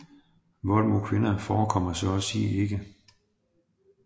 Vold mod kvinder forekommer så at sige ikke